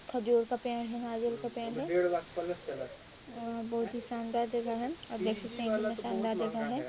--खजूर का पेड़ है नारियल का पेड़ हैं और बहुत ही शानदार जगह है आप देख सकते है कितना शानदार जगह हैं।